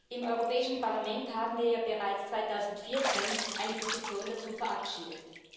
Im Europäischen Parlament haben wir ja bereits 2014 eine Position dazu verabschiedet.